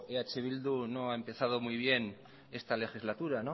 eh bildu no ha empezado muy bien esta legislatura